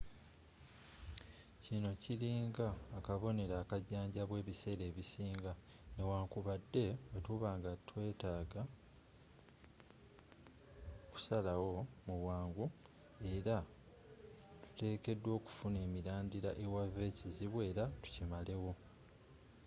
kino kiringa nga akobonero akajjanjabwa ebiseera ebisinga n'ewankubade bwetuba nga tetwagala kusalawo mu bwangu era tutekeddwa okufuna emilandila ewava ekizibu era tukimale wo